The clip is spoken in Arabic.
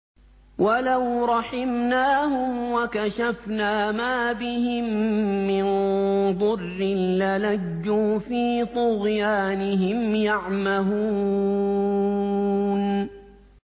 ۞ وَلَوْ رَحِمْنَاهُمْ وَكَشَفْنَا مَا بِهِم مِّن ضُرٍّ لَّلَجُّوا فِي طُغْيَانِهِمْ يَعْمَهُونَ